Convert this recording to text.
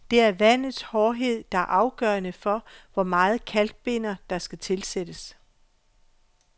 Det er vandets hårdhed, der er afgørende for, hvor meget kalkbinder, der skal tilsættes.